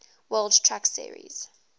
world truck series